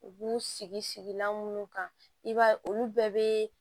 U b'u sigi sigilan minnu kan i b'a ye olu bɛɛ bɛ